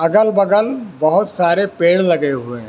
अगल बगल बहुत सारे पेड़ लगे हुए हैं।